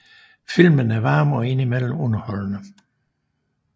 Filmen er varm og indimellem underholdende